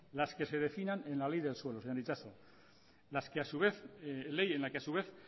las que se definan en la ley del suelo señor itxaso ley en la que a su vez